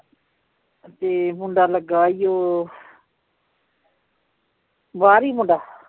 ਤੇ ਮੁੰਡਾ ਲੱਗਾ ਈ ਓ ਬਾਹਰ ਈ ਮੁੰਡਾ